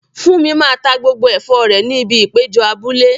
Funmi máa ta gbogbo ẹ̀fọ́ rẹ̀ ní ibi ìpéjọ abúlé.